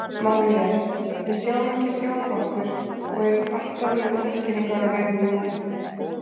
Málið er: Við sjáum ekki sjálf okkur og erum alltaf með útskýringar á reiðum höndum.